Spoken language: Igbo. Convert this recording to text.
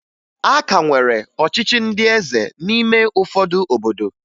A ka nwere ọchịchị ndị eze n'ime ụfọdụ obodo